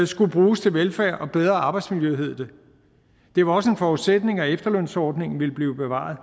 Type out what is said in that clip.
skulle bruges til velfærd og bedre arbejdsmiljø hed det det var også en forudsætning at efterlønsordningen ville blive bevaret